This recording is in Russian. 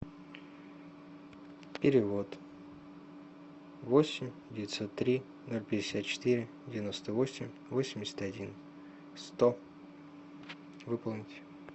перевод восемь девятьсот три ноль пятьдесят четыре девяносто восемь восемьдесят один сто выполнить